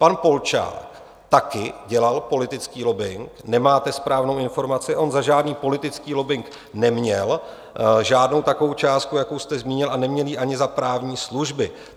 Pan Polčák taky dělal politický lobbing, nemáte správnou informaci, on za žádný politický lobbing neměl žádnou takovou částku, jakou jste zmínil, a neměl ji ani za právní služby.